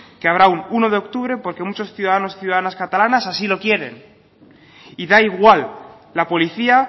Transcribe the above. que habrá un uno de octubre porque muchos ciudadanos y ciudadanas catalanas así lo quieren y da igual la policía